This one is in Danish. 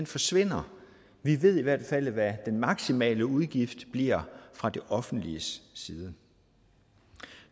forsvinder vi ved i hvert fald hvad den maksimale udgift bliver fra det offentliges side